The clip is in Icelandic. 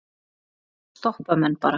Þá stoppa menn bara.